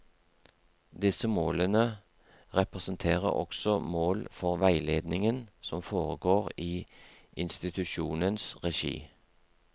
Disse målene representerer også mål for veiledningen som foregår i institusjonens regi.